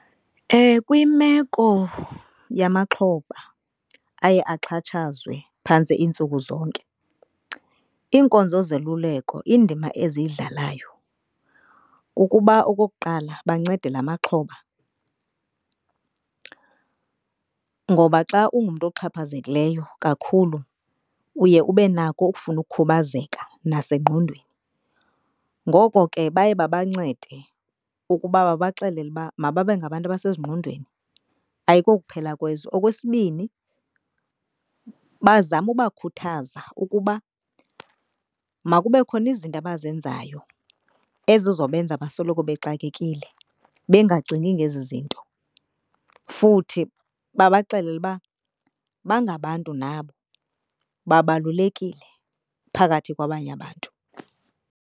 Kwimeko yamaxhoba aye axhatshazwe phantse iintsuku zonke iinkonzo zoluleko indima eziyidlalayo kukuba okokuqala bancede la maxhoba. Ngoba xa ungumntu oxhaphazekileyo kakhulu uye ube nako ukufuna ukukhubazeka nasengqondweni. Ngoko ke baye babancede ukuba babaxelele uba mababe ngabantu abasezingqondweni ayikokuphela kwezwe. Okwesibini, bazame ukubakhuthaza ukuba makube khona izinto abazenzayo ezizobenza basoloko bexakekile bengacingi ngezi zinto. Futhi babaxelele uba bangabantu nabo, babalulekile phakathi kwabanye abantu.